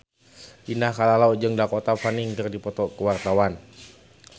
Indah Kalalo jeung Dakota Fanning keur dipoto ku wartawan